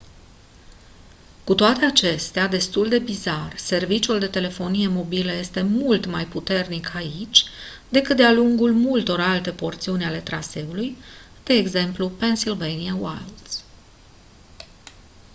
cu toate acestea destul de bizar serviciul de telefonie mobilă este mult mai puternic aici decât de-a lungul multor alte porțiuni ale traseului de ex. pennsylvania wilds